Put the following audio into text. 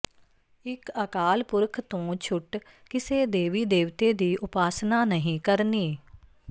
ਇਕ ਅਕਾਲ ਪੁਰਖ ਤੋਂ ਛੁਟ ਕਿਸੇ ਦੇਵੀ ਦੇਵਤੇ ਦੀ ਉਪਾਸਨਾ ਨਹੀਂ ਕਰਨੀ